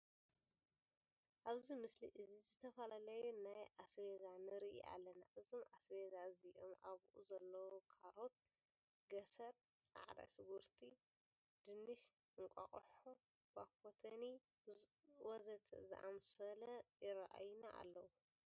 ኣብዚ ምስሊ እዚ ዝተፈላለዩ ናይ ኣስቤዛ ንርኢ ኣለና። እዞም ኣስቤዛ እዚኦም ኣብኡ ዘለዉ ካሮት፣ ገስር፣ ፃዕዳ ሽጉርቲ፣ ድንሽ፣ እንቋቑሖ ባኮተኒ ወዘተ ዝኣምሰለ ይረአዩና ኣለዉ።